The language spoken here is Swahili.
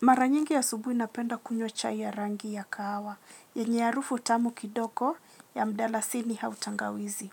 Mara nyingi asubuhi napenda kunywa chai ya rangi ya kahawa, yenye harufu tamu kidogo ya mdalasini au tangawizi.